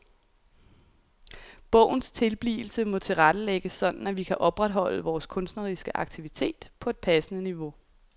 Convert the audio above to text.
Bogens tilblivelse må tilrettelægges sådan at vi kan opretholde vores kunstneriske aktivitet på et passende niveau.